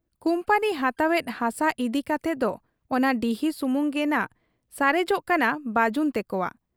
Company ᱦᱟᱛᱟᱣ ᱮᱫ ᱦᱟᱥᱟ ᱤᱫᱤ ᱠᱟᱛᱮᱫ ᱫᱚ ᱚᱱᱟ ᱰᱤᱦᱚ ᱥᱩᱢᱩᱝ ᱜᱮᱱᱷᱟᱜ ᱥᱟᱨᱮᱡᱚᱜ ᱠᱟᱱᱟ ᱵᱟᱹᱡᱩᱱ ᱛᱮᱠᱚᱣᱟᱜ ᱾